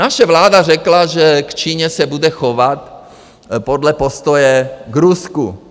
Naše vláda řekla, že k Číně se bude chovat podle postoje k Rusku.